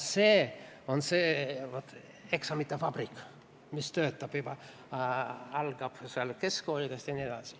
Vot see on see eksamite vabrik, mis algab juba keskkoolidest.